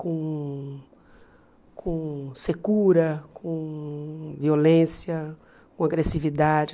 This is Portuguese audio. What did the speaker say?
com com secura, com violência, com agressividade.